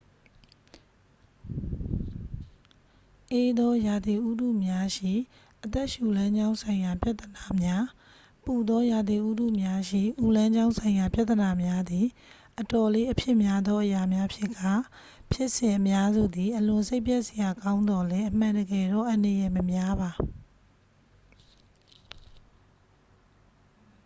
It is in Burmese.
အေးသောရာသီဥတုများရှိ အသက်ရှူလမ်းကြောင်းဆိုင်ရာပြဿနာများ ပူသောရာသီဥတုများရှိ အူလမ်းကြောင်းဆိုင်ရာပြဿနာများသည် အတော်လေးအဖြစ်များသောအရာများဖြစ်ကာ ဖြစ်စဉ်အများစုသည် အလွန်စိတ်ပျက်စရာကောင်းသော်လည်း အမှန်တကယ်တော့ အန္တရာယ်မများပါ